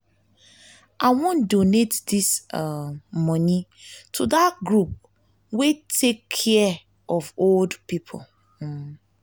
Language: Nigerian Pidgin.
i wan donate dis um money to dat group wey take care of old people um